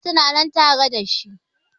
Iyalan su na nan tare da shi